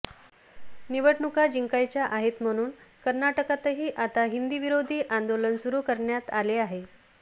निवडणुका जिंकायच्या आहेत म्हणून कर्नाटकातही आता हिंदीविरोधी आंदोलन सुरू करण्यात आले आहे